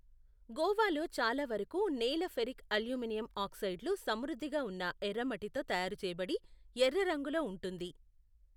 గోవాలో చాలా వరకు నేల ఫెరిక్ అల్యూమినియం ఆక్సైడ్లు సమృద్ధిగా ఉన్న ఎర్రమట్టితో తయారు చేయబడి, ఎర్ర రంగులో ఉంటుంది.